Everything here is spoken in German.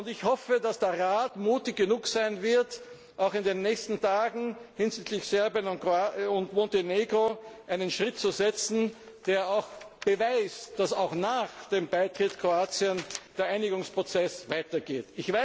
Ich hoffe, dass der Rat mutig genug sein wird, auch in den nächsten Tagen hinsichtlich Serbien und Montenegro einen Schritt zu setzen, der beweist, dass auch nach dem Beitritt Kroatiens der Einigungsprozess weitergeht.